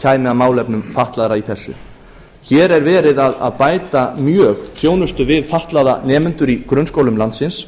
að málefnum fatlaðra í þessu hér er verið að bæta mjög þjónustu við fatlaða nemendur í grunnskólum landsins